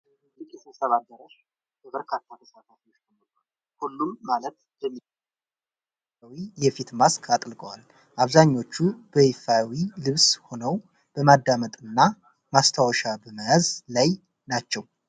ትልቅ የስብሰባ አዳራሽ በበርካታ ተሳታፊዎች ተሞልቷል። ሁሉም ማለት በሚቻል መልኩ ነጭና ሰማያዊ የፊት ማስክ አጥልቀዋል። አብዛኞቹ በይፋዊ ልብስ ሆነው በማዳመጥና ማስታወሻ በመያዝ ላይ ናቸው።